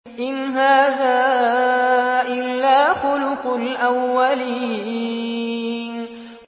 إِنْ هَٰذَا إِلَّا خُلُقُ الْأَوَّلِينَ